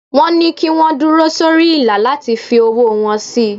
Wọ́n ní kí wọ́n dúró sórí ìlà láti fi owó wọn sí.